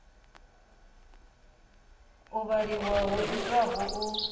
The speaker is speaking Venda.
u vhaliwa ho itwaho u